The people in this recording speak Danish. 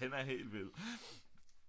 den er helt vild